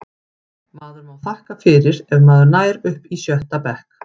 Maður má þakka fyrir ef maður nær upp í sjötta bekk.